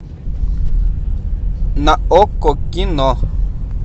на окко кино